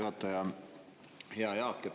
Hea Jaak!